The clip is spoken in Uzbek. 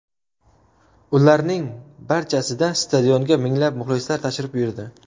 Ularning barchasida stadionga minglab muxlislar tashrif buyurdi.